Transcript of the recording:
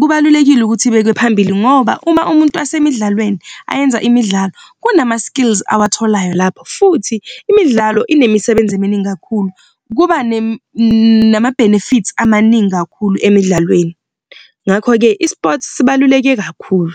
kubalulekile ukuthi ibekwe phambili ngoba uma umuntu wasemidlalweni ayenza imidlalo kunama-skills awatholayo lapho futhi imidlalo inemisebenzi eminingi kakhulu kuba nama-benefits amaningi kakhulu emidlalweni. Ngakho-ke i-sports sibaluleke kakhulu.